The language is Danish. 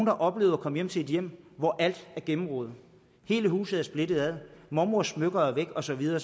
har oplevet at komme til et hjem hvor alt er gennemrodet hele huset er splittet ad mormors smykker er væk og så videre